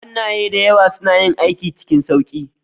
Hannaye da yawa suna yin aiki cikin sauƙi